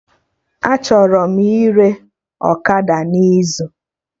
Achọrọ m ire ọkada n'izu week